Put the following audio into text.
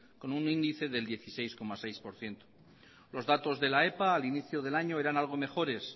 con un índice del dieciséis coma seis por ciento los datos de la epa al inicio del año eran algo mejores